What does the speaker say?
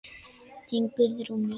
Þín Guðrún Mjöll.